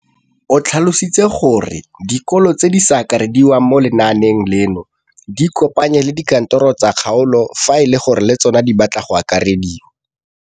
O tlhalositse gore dikolo tse di sa akarediwang mo lenaaneng leno di ikopanye le dikantoro tsa kgaolo fa e le gore le tsona di batla go akarediwa.